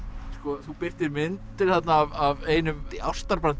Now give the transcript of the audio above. þú birtir myndir þarna af einum ástar